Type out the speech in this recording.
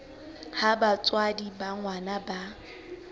ha batswadi ba ngwana ba